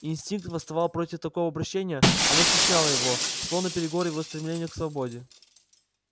инстинкт восставал против такого обращения оно стесняло его шло наперекор его стремлению к свободе